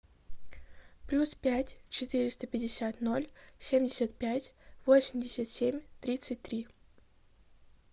плюс пять четыреста пятьдесят ноль семьдесят пять восемьдесят семь тридцать три